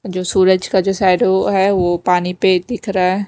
जो सूरज का जो शैडो हैवो पानी पे दिख रहा है।